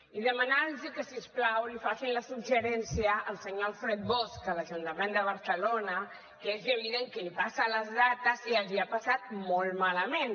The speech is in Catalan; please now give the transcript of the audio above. i demanar los que si us plau li facin el suggeriment al senyor alfred bosch a l’ajuntament de barcelona que és evident que és qui li passa les dades i els hi ha passat molt malament